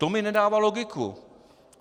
To mi nedává logiku.